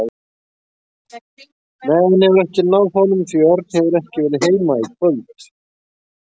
Nei, hann hefur ekki náð honum því að Örn hefur ekki verið heima í kvöld.